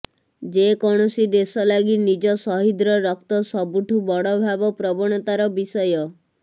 ଯେ କୌଣସି ଦେଶ ଲାଗି ନିଜ ଶହୀଦର ରକ୍ତ ସବୁଠୁ ବଡ ଭାବ ପ୍ରବଣତା ର ବିଷୟ